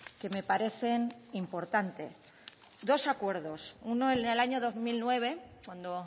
que me parecen importantes dos acuerdos uno en el año dos mil nueve cuando